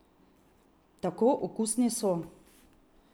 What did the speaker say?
Tako okusni so!